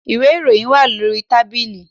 Ìwé ìròyìn wà lórí tábìlì